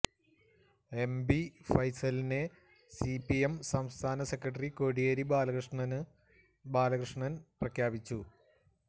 M B ഫൈസലിനെ C P M സംസ്ഥാന secretary Kodiyeri Balakrishnan പ്രഖ്യാപിച്ചു